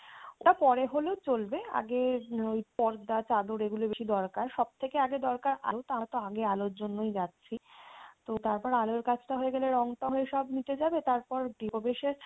ওটা পরে হলেও চলবে আগে ওই পর্দা চাদর এগুলোই বেশি দরকার সব থেকে আগে দরকার আরও আলোর জন্যই যাচ্ছি, তো তারপর আলোর কাজটা হয়ে গেলে রংটং হয়ে সব মিটে যাবে তারপর গৃহ প্রবেশের